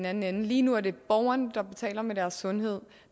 anden ende lige nu er det borgerne der betaler med deres sundhed